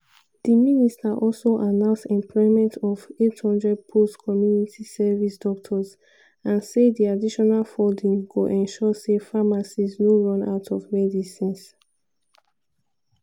di minister also announce employment of 800 post-community service doctors and say di additional funding go ensure say pharmacies no run out of medicines.